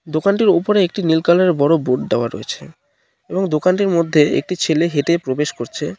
দোকানটির উপরে একটি নীল কালারের -এর বড় বোর্ড দেওয়া রয়েছে এবং দোকানটির মধ্যে একটি ছেলে হেঁটে প্রবেশ করছে।